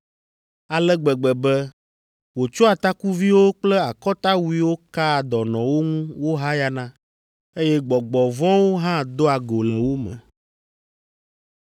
ale gbegbe be wòtsɔa takuviwo kple akɔtawuiwo kaa dɔnɔwo ŋu wohayana, eye gbɔgbɔ vɔ̃wo hã doa go le wo me.